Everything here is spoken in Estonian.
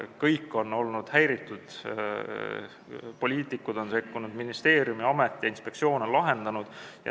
Kõik on olnud häiritud, poliitikud on sekkunud, ministeerium, amet ja inspektsioon on probleemi lahendanud.